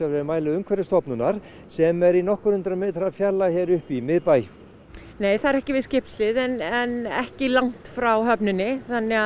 við mæli Umhverfisstofnunar sem er í nokkur hundruð metra fjarlægð hér uppi í miðbæ nei það er ekki við skipshlið en en ekki langt frá höfninni